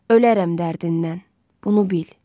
Ölərəm dərdindən, bunu bil.